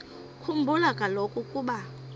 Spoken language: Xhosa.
khumbula kaloku ukuba